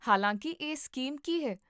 ਹਾਲਾਂਕਿ ਇਹ ਸਕੀਮ ਕੀ ਹੈ?